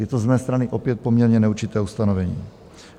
Je to z mé strany opět poměrně neurčité ustanovení.